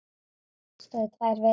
Það stóð í tvær vikur.